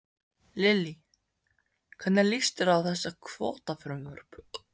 Lillý: Hvernig líst þér á þessi kvótafrumvörp?